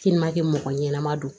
mɔgɔ ɲɛnɛma don